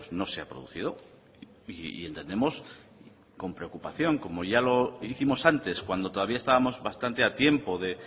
no se ha producido y entendemos con preocupación como ya lo hicimos antes cuando todavía estábamos bastante a tiempo de